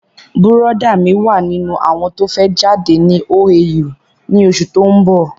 Bùrọ̀dá mí wà nínú àwọn tó fẹ́ jáde ní OAU ni osù tó ń bọ̀